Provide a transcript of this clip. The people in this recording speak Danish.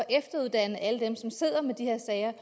efteruddanne alle dem som sidder med de her sager